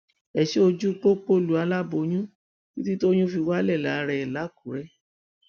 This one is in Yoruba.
ẹṣọ ojú pópó lu aláboyún títí tóyún fi wálẹ lára ẹ làkùrẹ